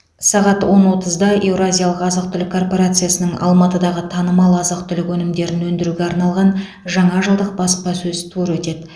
сағат он отызда еуразиялық азық түлік корпорациясының алматыдағы танымал азық түлік өнімдерін өндіруге арналған жаңа жылдық баспасөз туры өтеді